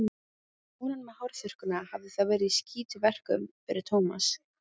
Konan með hárþurrkuna hafði þá verið í skítverkum fyrir Tómas.